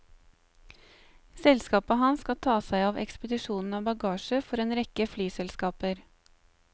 Selskapet hans skal ta seg av ekspedisjonen av bagasje for en rekke flyselskaper.